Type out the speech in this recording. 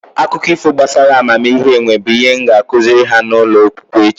Akụkọ ifo gbasara amamihe enwe bụ ihe m ga-akụziri ha n'ụlọ akwụkwọ echi